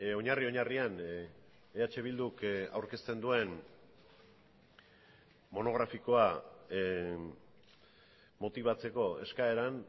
oinarri oinarrian eh bilduk aurkezten duen monografikoa motibatzeko eskaeran